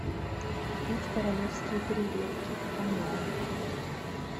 купить королевские креветки онлайн